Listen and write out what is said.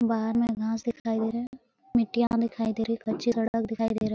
बाहर में घास दिखाई दे रहें हैं। मिट्टियाँ दिखाई दे रही है। कच्ची सड़क दिखाई दे रहा --